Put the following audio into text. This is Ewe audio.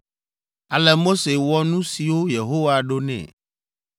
Ale Mose wɔ nu siwo Yehowa ɖo nɛ.